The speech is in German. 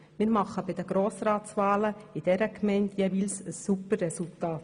Wir erreichen in dieser Gemeinde bei den Grossratswahlen jeweils ein super Resultat.